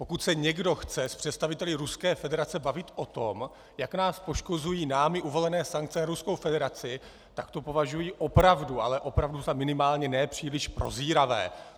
Pokud se někdo chce s představiteli Ruské federace bavit o tom, jak nás poškozují námi uvalené sankce na Ruskou federaci, tak to považuji opravdu, ale opravdu za minimálně nepříliš prozíravé.